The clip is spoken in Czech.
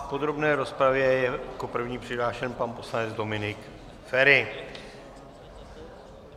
V podrobné rozpravě je jako první přihlášen pan poslanec Dominik Feri.